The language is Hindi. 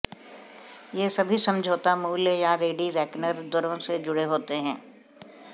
ये सभी समझौता मूल्य या रेडी रेकनर दरों से जुड़े होते हैं